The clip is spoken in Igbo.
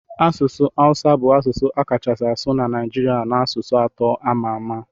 Asụsụ Hausa bu asụsụ akachasi asu na naijiria na asụsụ atọ amama.